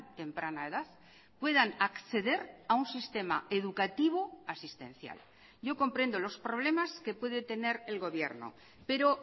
temprana edad puedan acceder a un sistema educativo asistencial yo comprendo los problemas que puede tener el gobierno pero